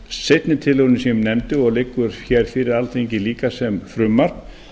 seinni tillögunni sem ég nefndi og liggur hér fyrir alþingi líka sem frumvarp